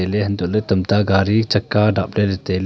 ley hantoh ley tamta gadi chakka dap ley ley tai ley.